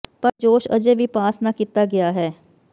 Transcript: ਪਰ ਜੋਸ਼ ਅਜੇ ਵੀ ਪਾਸ ਨਾ ਕੀਤਾ ਗਿਆ ਹੈ